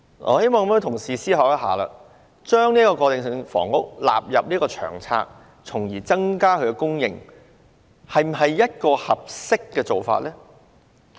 我希望各位同事想一想，把過渡性房屋納入《長策》從而增加供應，是否一個合適做法呢？